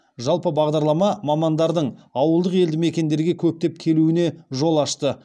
жалпы бағдарлама мамандардың ауылдық елді мекендерге көптеп келуіне жол ашты